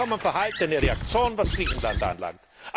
Vollkommen verhaltene Reaktion, was Griechenland anbelangt.